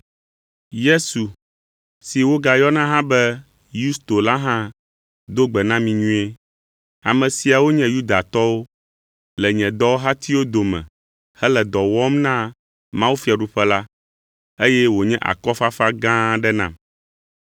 Yesu, si wogayɔna hã be Yusto la hã do gbe na mi nyuie. Ame siawo nye Yudatɔwo le nye dɔwɔhatiwo dome hele dɔ wɔm na mawufiaɖuƒe la, eye wònye akɔfafa gã aɖe nam.